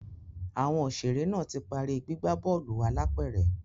Àwọn òṣèré náà ti parí gbígbà bóòlù álàpẹ̀rẹ̀